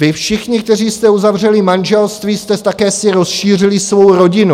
Vy všichni, kteří jste uzavřeli manželství, jste si také rozšířili svou rodinu.